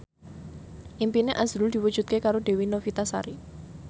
impine azrul diwujudke karo Dewi Novitasari